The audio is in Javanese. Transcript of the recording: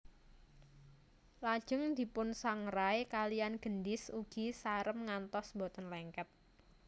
Lajeng dipunsangrai kaliyan gendhis ugi sarem ngantos boten lengket